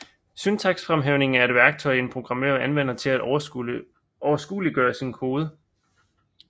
Syntaksfremhævning er et værktøj en programmør anvender til at overskueliggøre sin kode